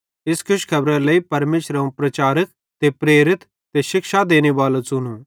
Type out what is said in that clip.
इस खुशखेबरारे लेइ परमेशरे अवं प्रचारक ते प्रेरित ते शिक्षा देनेबालो च़ुनो